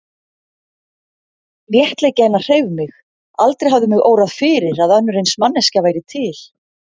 Léttleiki hennar hreif mig, aldrei hafði mig órað fyrir að önnur eins manneskja væri til.